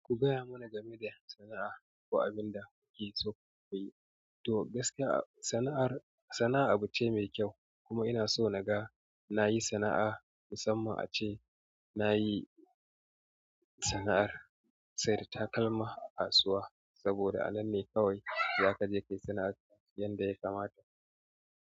Ku gaya mana game da sana'a ko abin da kuke so ku yi. To gaskiya sana'ar sana'a abu ce mai kyau kuma ina so naga nayi sana'a musamman ace nayi sana'ar saida takalma a kasuwa saboda ananne kawai zakaje kai sana'arka yanda ya kama.